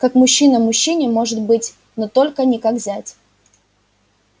как мужчина мужчине может быть но только не как зять